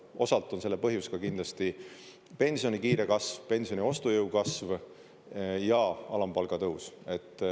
Osalt on selle põhjus ka kindlasti pensioni kiire kasv, pensioni ostujõu kasv ja alampalga tõus.